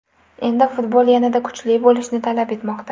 Endi futbol yanada kuchli bo‘lishni talab etmoqda.